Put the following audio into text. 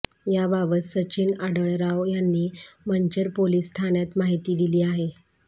याबाबत सचिन आढळराव यांनी मंचर पोलिस ठाण्यात माहिती दिली आहे